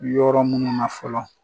Yɔrɔ minnu na fɔlɔ